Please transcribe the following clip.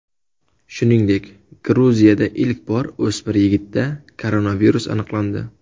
Shuningdek, Gruziyada ilk bor o‘smir yigitda koronavirus aniqlandi .